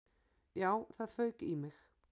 Já, það fauk í mig.